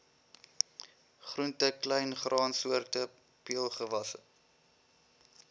groente kleingraansoorte peulgewasse